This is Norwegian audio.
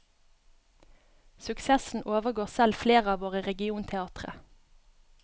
Suksessen overgår selv flere av våre regionteatre.